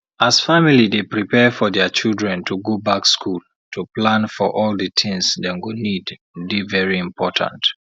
as family dey prepare for their children to go back school to plan for all the tins dem go need dey very important